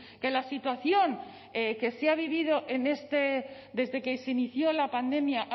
que la situación que se ha vivido desde que se inició la pandemia